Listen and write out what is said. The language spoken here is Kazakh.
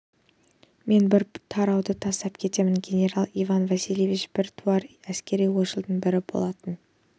мен бір тарауды тастап кетемін генерал иван васильевич біртуар әскери ойшылдардың бірі болатын